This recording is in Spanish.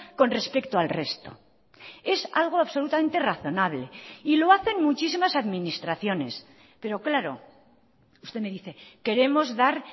con respecto al resto es algo absolutamente razonable y lo hacen muchísimas administraciones pero claro usted me dice queremos dar